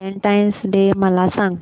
Valentine's day मला सांग